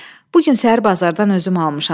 Bu gün səhər bazardan özüm almışam.